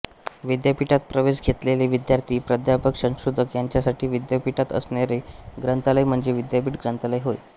विद्यापीठात प्रवेश घेतलेले विद्यार्थी प्राधापक संशोधक यांच्यासाठी विद्यापीठात असणारे ग्रंथालय म्हणजे विद्यापीठ ग्रंथालय होय